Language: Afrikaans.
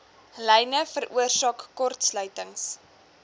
lyne veroorsaak kortsluitings